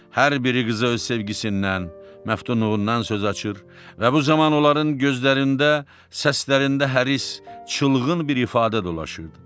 Hər biri qıza öz sevgisindən, məftunluğundan söz açır və bu zaman onların gözlərində, səslərində həris, çılğın bir ifadə dolaşırdı.